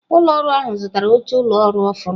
Ụlọ ọrụ ahụ zụtara oche ụlọ ọrụ ọhụrụ.